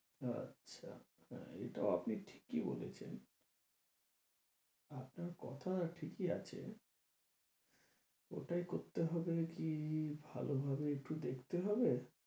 আচ্ছা, হ্যাঁ এটাও আপনি ঠিকই বলেছেন আপনার কথা ঠিকই আছে ওটাই করতে হবে কি ভালো ভাবে একটু দেখতে হবে।